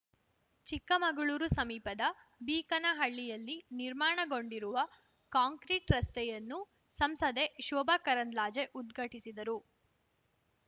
ಚಿಕ್ಕಮಗಳೂರು ಸಮೀಪದ ಬೀಕನಹಳ್ಳಿಯಲ್ಲಿ ನಿರ್ಮಾಣಗೊಂಡಿರುವ ಕಾಂಕ್ರೀಟ್‌ ರಸ್ತೆಯನ್ನು ಸಂಸದೆ ಶೋಭಾ ಕರಂದ್ಲಾಜೆ ಉದ್ಘಟಿಸಿದರು